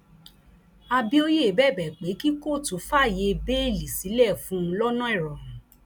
àbíòye bẹbẹ pé kí kóòtù fàáyé bẹẹlí sílẹ fún un lọnà ìrọrùn